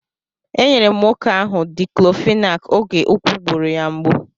E nyere m nwoke ahụ Diklofenak oge úkwù gburu ya mgbu.